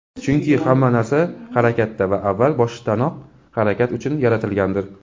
Chunki hamma narsa harakatda va avval boshdanoq harakat uchun yaratilgandir.